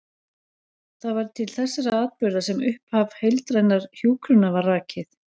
Það var til þessara atburða sem upphaf heildrænnar hjúkrunar var rakið.